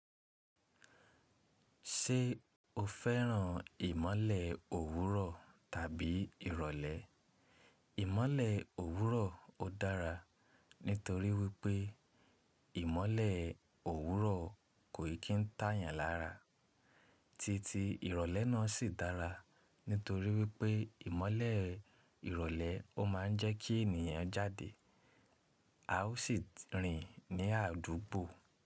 Ṣé o fẹ́ràn ìmọ̀le òwúrọ̀ tàbí ìrọ̀lẹ́? Ìmọ̀le òwúrọ̀ ó dára nítorí wípé ìmọ̀le òwúrọ̀ kò ì kí ń tàyàn lára. Tí tí ìrọ̀lẹ́ náà sì dára nítorí wípé ìmọ̀le ìrọ̀lẹ́ ó máa ń jẹ́ kí ènìyàn jáde. A ó sì rìn ní àdúgbò.